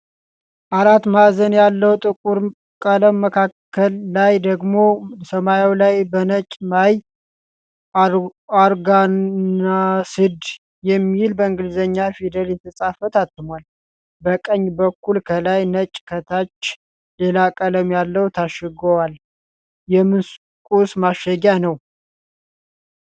አራት ማዕዘን ያለዉ ጥቁር ቀለም መካከል ላይ ደግሞ ሰማያዉ ላይ በነጭ "ማይ ኦርጋናስድ" የሚል በእንግሊዘኛ ፊደል የተፃፈ ታትሟል። በቀኝ በኩል ከላይ ነጭ ከታች ሌላ ቀለም ያለዉ ታሽገዋል። የምን ቁስ ማሸጊያ ነዉ?